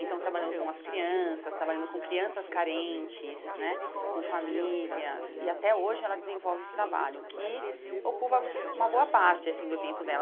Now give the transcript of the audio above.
Então, trabalhando com as crianças, trabalhando com crianças carentes né, com famílias, e até hoje ela desenvolve esse trabalho, que ocupa uma boa parte assim do tempo dela.